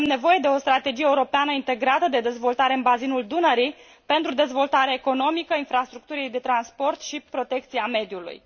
Avem nevoie de o strategie europeană integrată de dezvoltare în bazinul Dunării pentru dezvoltarea economică, a infrastructurii de transport și protecția mediului.